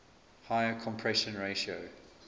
higher compression ratio